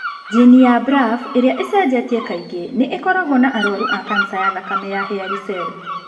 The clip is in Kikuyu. Jini ya BRAF ĩrĩa ĩcenjetie kaingĩ nĩ ĩkoragũo na arũaru a kanca ya thakame ya hairy cell.